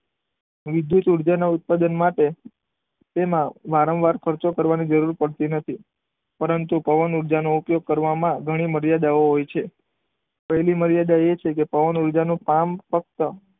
વિદ્યુત ઉર્જા ના ઉત્પાદન માટે તેમાં વારંવાર ખર્ચો કરવાની જરૂર પડતી નથી. પરંતુ, પવન ઉર્જાનો ઉપયોગ કરવામાં ઘણી મર્યાદાઓ હોય છે. પહેલી મર્યાદા એ છે કે પવન ઉર્જાનું ફાર્મ ફક્ત,